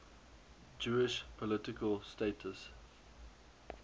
jewish political status